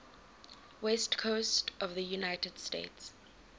west coast of the united states